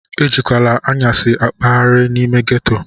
Ejikwala anyasi akpaghari n'ime ghetto!